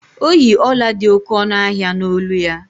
O yi ọla dị oké ọnụ ahịa n’olu ya.